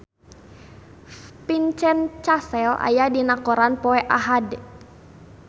Vincent Cassel aya dina koran poe Ahad